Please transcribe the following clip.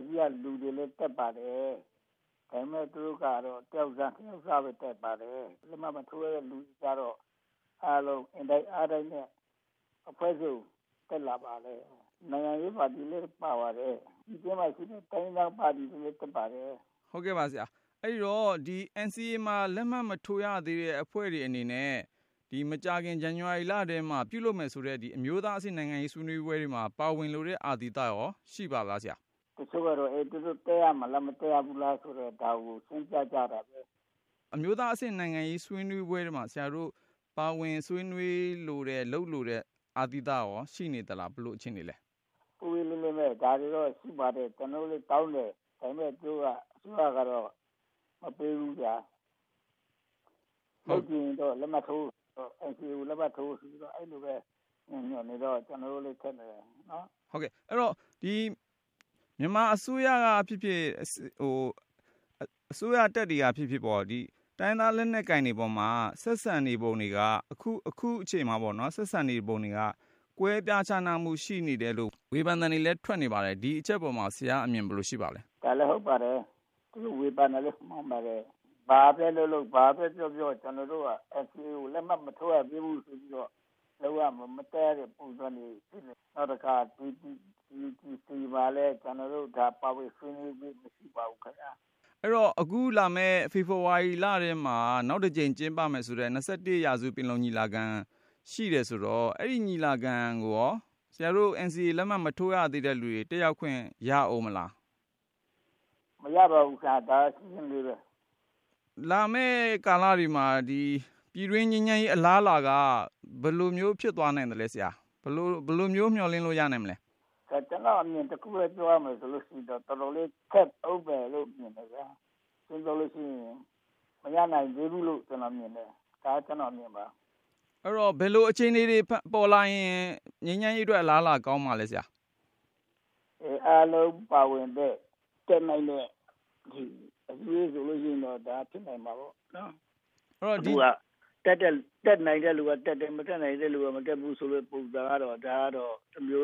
စည်းက လူတွေလည်း တက်ပါတယ်။ ဒါပေမယ့် သူတို့က တယောက်စ နှစ်ယောက်စပဲ တက်တာပါ။ NCA လက်မှတ်မထိုးရသေးတဲ့ သူတွေကတော့ အားလုံး အင်တိုက်အားတိုက်နဲ့ အဖွဲ့စုံ တက်လာပါတယ်။ နိုင်ငံရေးပါတီတွေ ပြည်တွင်းမှာရှိတဲ့ တိုင်းရင်းသားပါတီတွေ လည်း တက်ပါတယ်။ အဲဒီတော့ NCA လက်မှတ်မထိုးရသေးတဲ့ အဖွဲ့တွေအနေနဲ့ မကြာခင် ဒီဇန်နဝါရီလထဲမှာ ပြုလုပ်မယ်ဆိုတဲ့ အမျိုးသားအဆင့် နိုင်ငံရေးဆွေးနွေး ပွဲတွေမှာ ပါဝင်လိုတဲ့အာသီသရော ရှိပါသလား။ တချို့ကတော့ သူတို့တက်ရမလား မတက်ရဘူးလားဆိုတာ ဒါကို ဆုံးဖြတ်ကြတာပဲ။ အမျိုးသားအဆင့် နိုင်ငံရေးဆွေးနွေးပွဲတွေမှာ ပါဝင်ဆွေးနွေးလိုတဲ့ လုပ်လိုတဲ့ အာသီသရော ရှိနေသလား၊ ဘယ်လိုအခြေအနေလဲ။ ဒါတွေတော့ ရှိပါတယ်။ ကျနော်တို့လည်း တောင်းတယ်။ ဒါပေမယ် သူတို့က အစိုးရကတော့ မပေးဘူးဗျာ။ လုပ်ချင်ရင်တော့ NCA ကို လက်မှတ်ထိုး ဆိုပြီးတော့ အဲလိုပဲဖြစ်နေတော့ ကျနော်တို့လဲ ခက်နေတယ်။ အဲဒီတော့ မြန်မာအစိုးရကဖြစ်ဖြစ် အစိုးရတပ်တွေကဖြစ်ဖြစ်ပေါ့ တိုင်းရင်းသား လက်နက်ကိုင်တွေပေါ်မှာ ဆက်ဆံနေပုံတွေက ကွဲပြားခြားနားမှု ရှိနေတယ်လို့ ဝေဖန်သံတွေလည်း ထွက်နေပါတယ်။ ဒီအချက်ပေါ်မှာ ဆရာ့အမြင် ဘယ်လိုရှိပါသလဲ။ ဒါလည်းဟုတ်ပါတယ်။ သူတို့ဝေဖန်တာလည်း မှန်ပါတယ်။ ဘာပဲလုပ်လုပ် ဘာပဲပြောပြော ကျနော်တို့က NCA ကို လက်မှတ်မထိုးရ သေးဘူး ဆိုပြီးတော့ မလုပ်ရတဲ့ မတက်ရတဲ့ ပုံစံတွေဖြစ်နေတယ်။ အဲဒီတော့ အခုလာမယ့် ဖေဖေါ်ဝါရီလထဲမှာ နောက်တကြိမ် ကျင်းပမယ် ဆိုတဲ့ ၂၁ ရာစုပင်လုံညီလာခံ ရှိတယ်ဆိုတော့ အဲဒီ ညီလာခံကိုရော ဆရာတို့ NCA ကို လက်မှတ်မထိုး ရသေးတဲ့သူတွေ တက်ရောက်ခွင့် ရဦးမလား။ မရပါဘူးခင်ဗျာ။ ဒါ ရှင်းရှင်းလေးပဲ။ လာမယ့်ကာလတွေမှာ ပြည်တွင်းငြိမ်းချမ်းရေး အလားအလာက ဘယ်လိုမျိုး ဖြစ်သွားနိုင်သလဲခင်ဗျ၊ ဘယ်လို မျှော်လင့်လို့ ရနိုင်မလဲ။ ဒါ ကျနော့်အမြင် တခုထဲ ပြောရမယ်ဆိုလို့ရှိရင်တော့ တော်တော်လေး ကြပ်ဦးမယ်လို့ မြင်တယ်ဗျာ။ ရှင်းရှင်းပြောလို့ရှိရင် မရနိုင်သေးဘူးလို့ ကျနော်မြင် တယ်။ ဒါ ကျနော့်အမြင်ပါ။ အဲဒီတော့ ဘယ်လို အခြေအနေတွေ ပေါ်လာရင် ငြိမ်းချမ်းရေးအတွက် အလားအလာကောင်းမှာလဲ ဆရာ။ အားလုံးပါဝင်တဲ့ တက်နိုင်မယ့် အစည်းဝေးဆိုလို့ရှိရင်တော့ ဒါ ဖြစ်နိုင်မှာပေါ့။ အခုဟာက တက်နိုင်တဲ့လူကတက်တယ် မတက်နိုင်တဲ့သူက မတက်ဘူးဆိုတဲ့ ပုံစံကတော့ ဒါကတော့ တမျိုး